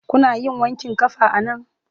Kuna yin wanƙin ƙafa a nan?